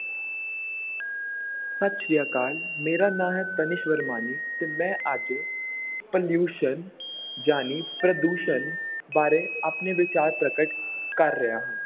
ਸਤਿ ਸ੍ਰੀ ਅਕਾਲ, ਮੇਰਾ ਨਾਂ ਹੈ ਤਨਿਸ਼ ਵਰਮਾਨੀ ਤੇ ਮੈਂ ਅੱਜ pollution ਜਾਣੀ ਪ੍ਰਦੂਸ਼ਣ ਬਾਰੇ ਆਪਣੇ ਵਿਚਾਰ ਪ੍ਰਗਟ ਕਰ ਰਿਹਾ ਹਾਂ।